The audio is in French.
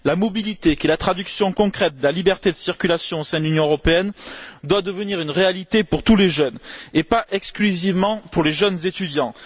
La mobilité, qui est la traduction concrète de la liberté de circulation au sein de l'Union européenne, doit devenir une réalité pour tous les jeunes, et pas exclusivement pour les jeunes étudiants.